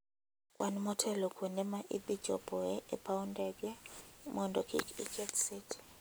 Kwan motelo kuonde ma idhi chopoe e paw ndege mondo kik iketh seche.